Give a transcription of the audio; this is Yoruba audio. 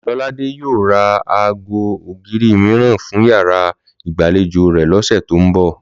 Lọ́ládé yóò ra aago ògiri mìíràn fún yàrá ìgbàlejò rẹ̀ lọ́sẹ̀ tó ń bọ̀